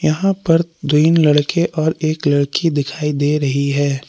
यहां पर तीन लड़के और एक लड़की दिखाई दे रही है।